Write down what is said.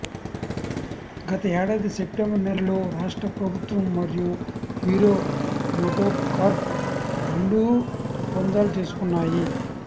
గత ఏడాది సెప్టెంబర్ నెలలో రాష్ట్ర ప్రభుత్వం మరియు హీరో మోటోకార్ప్ రెండూ ఒప్పందాలు చేసుకున్నాయి